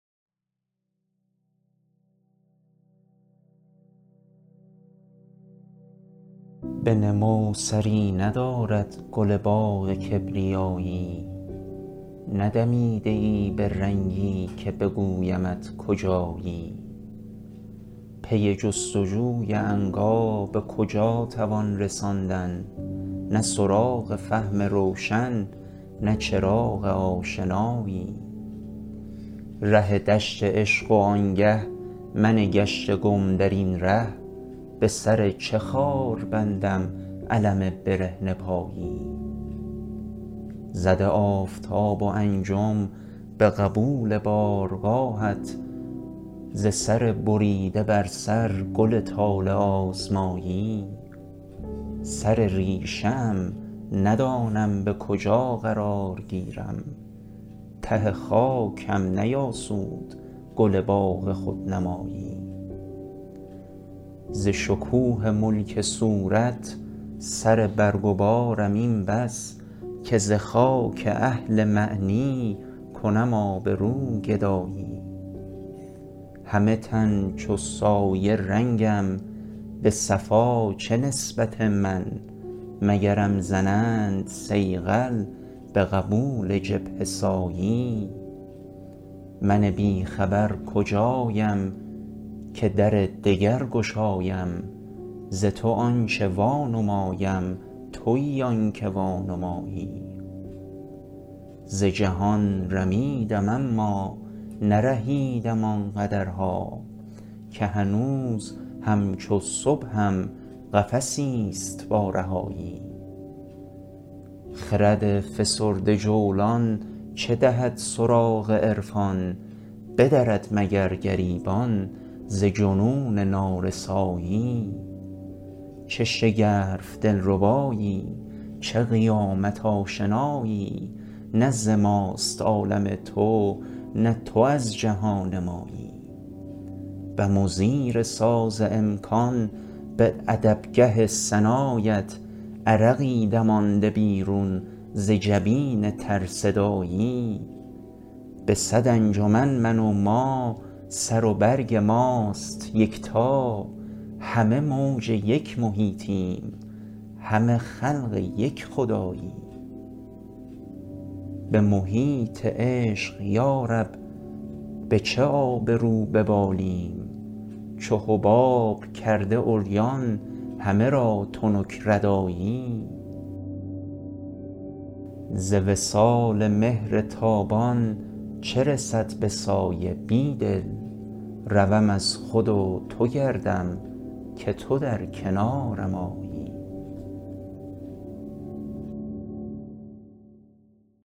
به نمو سری ندارد گل باغ کبریایی ندمیده ای به رنگی که بگویمت کجایی پی جستجوی عنقا به کجا توان رساندن نه سراغ فهم روشن نه چراغ آشنایی ره دشت عشق و آنگه من گشته گم درین ره به سر چه خار بندم الم برهنه پایی زده آفتاب و انجم به قبول بارگاهت ز سر بریده بر سر گل طالع آزمایی سر ریشه ام ندانم به کجا قرار گیرم ته خاک هم نیاسود گل باغ خودنمایی ز شکوه ملک صورت سر برگ و بارم این بس که ز خاک اهل معنی کنم آبرو گدایی همه تن چو سایه رنگم به صفا چه نسبت من مگرم زنند صیقل به قبول جبهه سایی من بیخبر کجایم که در دگر گشایم ز تو آنچه وانمایم تویی آنکه وانمایی ز جهان رمیدم اما نرهیدم آنقدرها که هنوز همچو صبحم قفسی ست با رهایی خرد فسرده جولان چه دهد سراغ عرفان بدرد مگر گریبان ز جنون نارسایی چه شگرف دلربایی چه قیامت آشنایی نه ز ماست عالم تو نه تو از جهان مایی بم و زیر ساز امکان به ادبگه ثنایت عرقی دمانده بیرون ز جبین ترصدایی به صد انجمن من و ما سر و برگ ماست یکتا همه موج یک محیطیم همه خلق یک خدایی به محیط عشق یا رب به چه آبرو ببالیم چو حباب کرده عریان همه را تنک ردایی ز وصال مهر تابان چه رسد به سایه بیدل روم از خود و تو گردم که تو در کنارم آیی